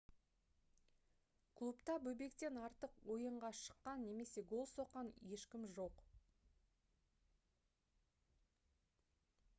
клубта бобектен артық ойынға шыққа немесе гол соққан ешкім жоқ